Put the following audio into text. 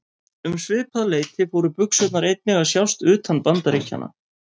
Um svipað leyti fóru buxurnar einnig að sjást utan Bandaríkjanna.